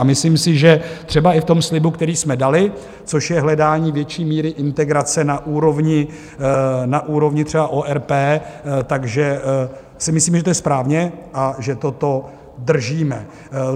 A myslím si, že třeba i v tom slibu, který jsme dali, což je hledání větší míry integrace na úrovni třeba ORP, takže si myslím, že to je správně a že toto držíme.